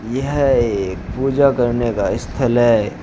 यह एक पूजा करने का स्थल है।